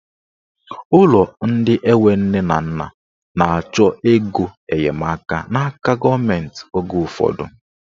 Ụlọ ndị enwe nne na nna na-achọ ego enyemaka n'aka gọọmenti oge ụfọdụ.